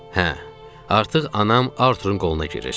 Hə, artıq anam Artur'un qoluna girir.